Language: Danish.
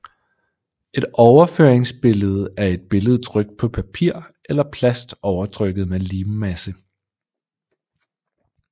Et overføringsbillede er et billede trykt på papir eller plast overtrukket med limmasse